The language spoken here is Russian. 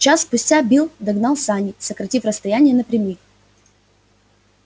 час спустя билл догнал сани сократив расстояние напрямик